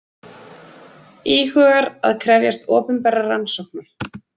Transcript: Íhugar að krefjast opinberrar rannsóknar